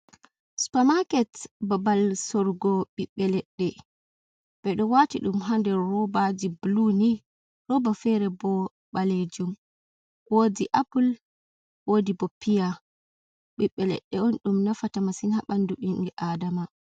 Supa maaket, babal sorgo ɓiɓɓe leɗɗe ɓe ɗo waati ɗum haa nder robaaji bulu ni, roba fere ɓo ɓaleejum, woodi appul, woodi bo piya, ɓiɓɓe leɗɗe on ɗum nafata masin haa ɓandu ɓimɓe adama.